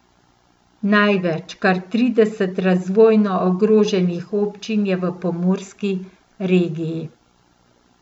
Največ, kar trideset razvojno ogroženih občin, je v Pomurski regiji.